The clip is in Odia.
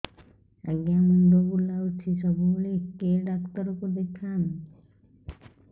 ଆଜ୍ଞା ମୁଣ୍ଡ ବୁଲାଉଛି ସବୁବେଳେ କେ ଡାକ୍ତର କୁ ଦେଖାମି